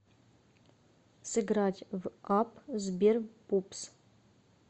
сыграть в апп сбер пупс